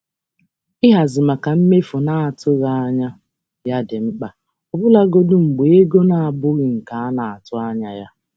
um Ịhazi maka mmefu na-atụghị anya ya dị mkpa ọbụlagodi mgbe ego um na-abụghị nke a na-atụ um anya ya.